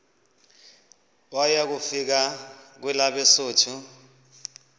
waya kufika kwelabesuthu